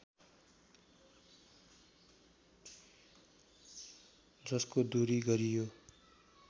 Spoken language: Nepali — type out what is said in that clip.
जसको दूरी गरियो